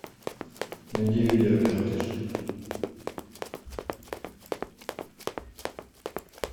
найди видео коротыш